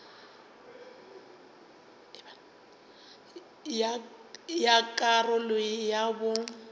ya ka karolo ya bo